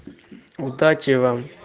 удачи вам